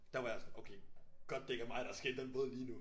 Der var jeg okay godt det ikke er mig der skal i den båd lige nu